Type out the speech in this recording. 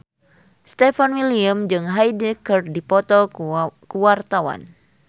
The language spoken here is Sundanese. Stefan William jeung Hyde keur dipoto ku wartawan